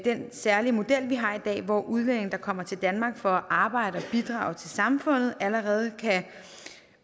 særlige model vi har i dag hvor udlændinge der kommer til danmark for at arbejde og bidrage til samfundet allerede kan